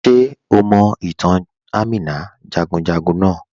Ṣe o mọ̀ itàn Àmìnà jagunjagun naà?